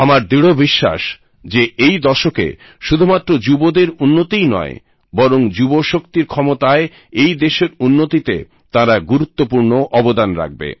আমার দৃঢ় বিশ্বাস যে এই দশকে শুধুমাত্র যুবদের উন্নতিই নয় বরং যুব শক্তির ক্ষমতায় এই দেশের উন্নতিতে তাঁরা গুরুত্বপূর্ণ অবদান রাখবে